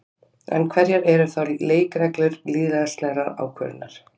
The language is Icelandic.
En hverjar eru þá leikreglur lýðræðislegrar ákvörðunar?